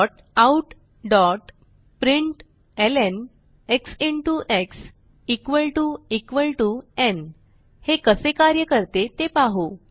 Systemoutprintlnएक्स x न् हे कसे कार्य करते ते पाहू